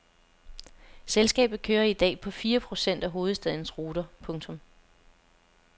Selskabet kører i dag på fire procent af hovedstadens ruter. punktum